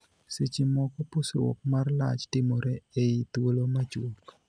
Seche moko, pusruok mar lach timore ei thuolo machuok .